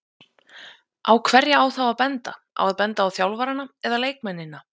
Á hverja á þá að benda, á að benda á þjálfarana eða leikmennina?